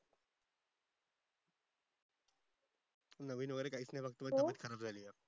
नवीन वगेरे काहीच नाही फक्त माझी तब्बेत खराब झाली आहे